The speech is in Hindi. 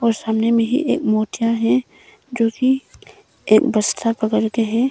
और सामने में ही एक मोटा है जो की एक बस्ता पकड़ के हैं।